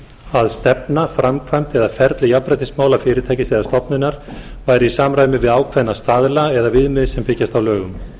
að stefna framkvæmd eða ferli jafnréttismála fyrirtækis eða stofnunar væri í samræmi við ákveðna staðla eða viðmið sem byggjast á lögum